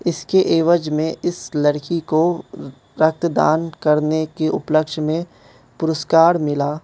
इसकी एवज में इस लड़की को रक्तदान करने के उपलक्ष में पुरस्कार मिला।